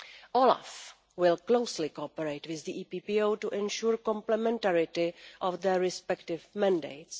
OLAF will closely cooperate with the EPPO to ensure complementarity of their respective mandates.